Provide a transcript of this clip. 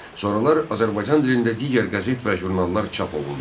Sonralar Azərbaycan dilində digər qəzet və jurnallar çap olundu.